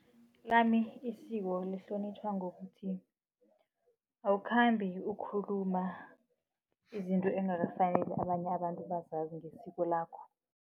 Lami isiko lihlonitjhwa ngokuthi awukhambi ukhuluma izinto engakafaneli abanye abantu bazazi ngesiko lakho.